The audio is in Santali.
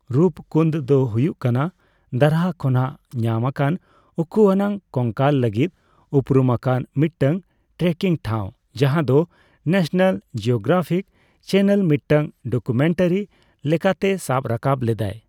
ᱨᱩᱯᱠᱩᱱᱫᱽ ᱫᱚ ᱦᱩᱭᱩᱜ ᱠᱟᱱᱟ ᱫᱟᱨᱦᱟ ᱠᱷᱚᱱᱟᱜ ᱧᱟᱢ ᱟᱠᱟᱱ ᱩᱠᱩ ᱟᱱᱟᱜ ᱠᱚᱝᱠᱟᱞ ᱞᱟᱹᱜᱤᱫ ᱩᱯᱨᱩᱢ ᱟᱠᱟᱱ ᱢᱤᱫᱴᱟᱝ ᱴᱨᱮᱠᱤᱝ ᱴᱷᱟᱣ, ᱡᱟᱦᱟᱸ ᱫᱚ ᱱᱮᱥᱱᱮᱞ ᱡᱤᱭᱳᱜᱨᱟᱯᱷᱤᱠ ᱪᱮᱱᱮᱞ ᱢᱤᱫᱴᱟᱝ ᱰᱚᱠᱩᱢᱮᱱᱴᱟᱨᱤ ᱞᱮᱠᱟᱛᱮ ᱥᱟᱵ ᱨᱟᱠᱟᱵ ᱞᱮᱫᱟᱭ ᱾